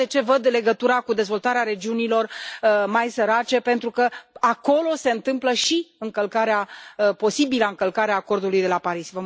Iată de ce văd legătura cu dezvoltarea regiunilor mai sărace, pentru că acolo se întâmplă și încălcarea, posibila încălcare, a acordului de la Paris.